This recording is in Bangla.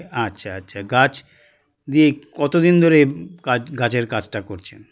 আচ্ছা আচ্ছা গাছ দিয়ে কতদিন ধরে কাজ গাছের কাজটা করছেন